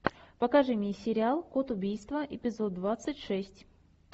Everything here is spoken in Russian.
покажи мне сериал код убийства эпизод двадцать шесть